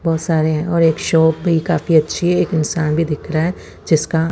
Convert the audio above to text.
बहोत सारे और एक शॉप भी काफी अच्छी है एक इन्शान भी दिख रहा है जिसका--